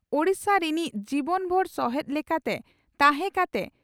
ᱳᱰᱤᱥᱟ ᱨᱤᱱᱤᱡ ᱡᱤᱵᱚᱱ ᱵᱷᱩᱨ ᱥᱚᱦᱮᱛ ᱞᱮᱠᱟᱛᱮ ᱛᱟᱦᱮᱸ ᱠᱟᱛᱮ